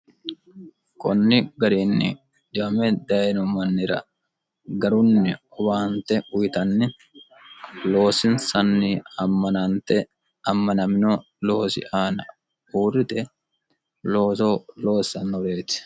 kunni gariinni diyame dayino mannira garunni ubaante uyitanni loosinsanni ammanante ammanamino loosi aana huurrite looso loossannoreeti